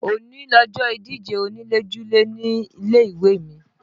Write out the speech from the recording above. Òní lọjọ́ ìdíje onílé-julé nílé ìwé mi